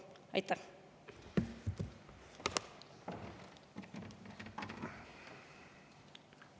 Aitäh!